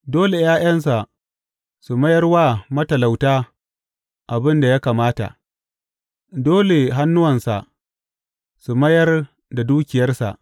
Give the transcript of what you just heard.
Dole ’ya’yansa su mayar wa matalauta abin da ya kamata; dole hannuwansa su mayar da dukiyarsa.